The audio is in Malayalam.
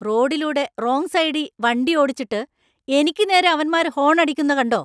റോഡിലൂടെ റോങ് സൈഡീ വണ്ടിയോടിച്ചിട്ട്, എനിക്ക് നേരെ അവന്മാര് ഹോൺ അടിക്കുന്ന കണ്ടോ.